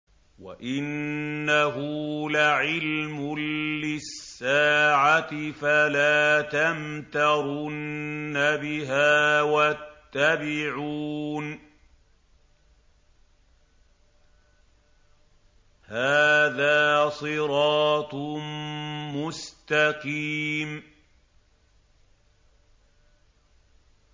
وَإِنَّهُ لَعِلْمٌ لِّلسَّاعَةِ فَلَا تَمْتَرُنَّ بِهَا وَاتَّبِعُونِ ۚ هَٰذَا صِرَاطٌ مُّسْتَقِيمٌ